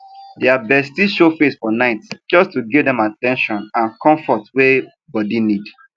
dia bestie show face for nightjust to give dem at ten tion and comfort wey bodi need